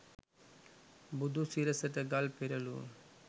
බුදු සිරසට ගල් පෙරලූ